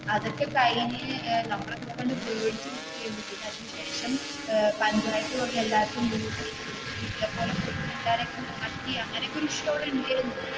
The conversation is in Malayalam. അതൊക്കെ കഴിഞ്ഞ് നമ്മളൊക്കെ ഇങ്ങനെ പേടിച്ചു നിക്കുവായിരുന്നു, പിന്നെ അതിനു ശേഷം പഞ്ചായത്തു വന്നു എല്ലാർക്കും വീട് ഒക്കെ കൊടുത്തു പോലെ കൊടുത്തു എല്ലാരേം ഒക്കെ മാറ്റി അങ്ങനെ ഒക്കെ ഒരു അവിടെ ഉണ്ടായിരുന്നു.